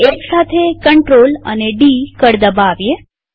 હવે એકસાથે ctrl અને ડી કળ દબાવીએ